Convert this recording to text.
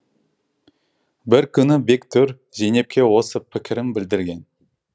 бір күні бектұр зейнепке осы пікірін білдірген